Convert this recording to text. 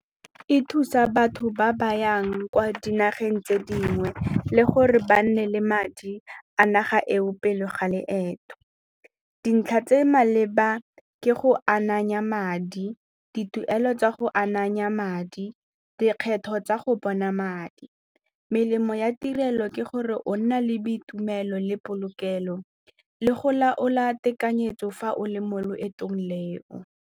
E thusa batho ba ba yang kwa dinageng tse dingwe le gore ba nne le madi a naga eo pele ga loeto. Dintlha tse maleba ke go ananya madi, dituelo tsa go ananya madi, dikgetho tsa go bona madi. Melemo ya tirelo ke gore o nna le boitumelo le polokelo le go laola tekanyetso fa o le mo loetong leo.